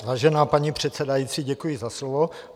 Vážená paní předsedající, děkuji za slovo.